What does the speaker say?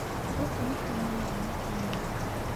Gũkũ nĩ kũrĩ na thamaki nyingĩ.